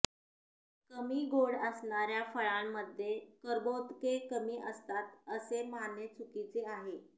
कमी गोड असणाऱ्या फळांमध्ये कर्बोदके कमी असतात असे मानणे चुकीचे आहे